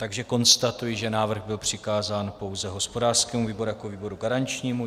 Takže konstatuji, že návrh byl přikázán pouze hospodářskému výboru jako výboru garančnímu.